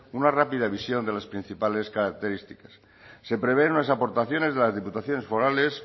una rápida visión de las principales características se prevén unas aportaciones de las diputaciones forales